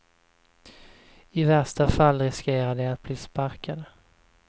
I värsta fall riskerar de att bli sparkade.